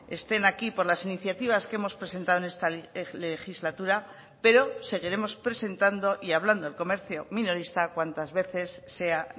estén aquí por las iniciativas que hemos presentado en esta legislatura pero seguiremos presentando y hablando del comercio minorista cuantas veces sea